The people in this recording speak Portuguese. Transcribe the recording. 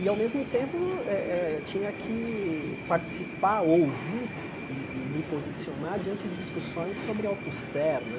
E, ao mesmo tempo, eh eh tinha que participar, ouvir e e me posicionar diante de discussões sobre autosser né.